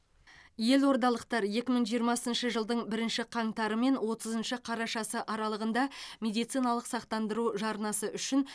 елордалықтар екі мың жиырмасыншы жылдың бірінші қаңтары мен отызыншы қарашасы аралығында медициналық сақтандыру жарнасы үшін